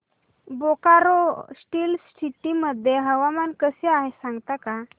Bokaro steel city मध्ये हवामान कसे आहे सांगता का